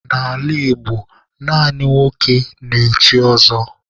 N'ala Igbo, naanị nwoke na-echi ọzọ.